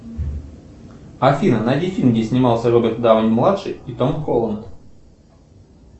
афина найди фильм где снимался роберт дауни младший и том холланд